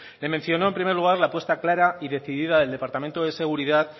le mencionó en primer lugar la apuesta clara y decidida del departamento de seguridad